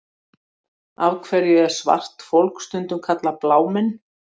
Af hverju er svart fólk stundum kallað blámenn?